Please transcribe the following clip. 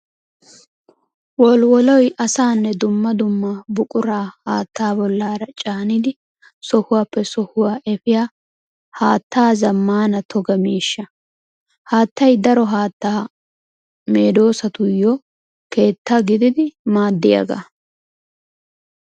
Wolwoloy asaanne dumma dumma buqura haatta bollara caaniddi sohuwappe sohuwa efiya haatta zamaana toga miishsha. Haattay daro haatta medosattuyo keetta gididi maadiyaaga.